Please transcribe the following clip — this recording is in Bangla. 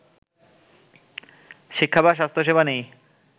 শিক্ষা বা স্বাস্থ্যসেবা নেই